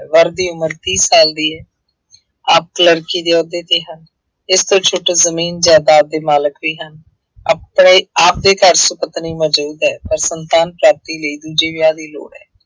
ਵਰ ਦੀ ਉਮਰ ਤੀਹ ਸਾਲ ਦੀ ਹੈ। ਆਪ ਕਲਰਕੀ ਦੇ ਅਹੁਦੇ ਤੇ ਹੈ। ਇਸ ਤੋਂ ਛੁੱਟ ਜ਼ਮੀਨ ਜਾਇਦਾਦ ਦੇ ਮਾਲਕ ਵੀ ਹਨ। ਆਪਣੇ ਆਪ ਦੇ ਘਰ ਸੁਪਤਨੀ ਮੌਜੂਦ ਹੈ, ਪਰ ਸੰਤਾਨ ਪ੍ਰਾਪਤੀ ਲਈ ਦੂਜੇ ਵਿਆਹ ਦੀ ਲੋੜ ਹੈ।